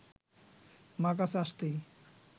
মা কাছে আসতেই